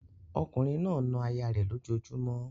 Ọkùnrin náà na aya rẹ̀ lójojúmọ́